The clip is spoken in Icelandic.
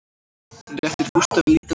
Hún réttir Gústafi lítinn pakka